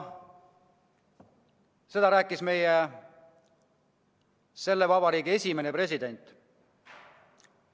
" Seda rääkis meie selle vabariigi esimene president.